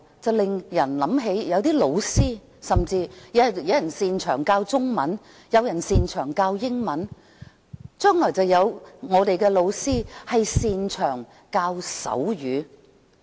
我們有些老師擅長教授中文，有些擅長教授英文，將來可能有些擅長教授手語。